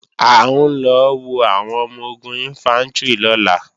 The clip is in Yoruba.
À ń lọ wo àwọn ọmọ-ogun Ìnfántrì lọ́la